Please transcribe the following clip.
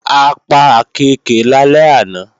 A pa àkééke lálẹ́ àná